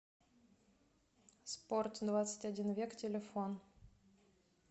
спорт двадцать один век телефон